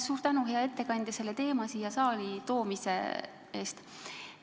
Suur tänu, hea ettekandja, selle teema siia saali toomise eest!